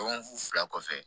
Dɔgɔkun fila kɔfɛ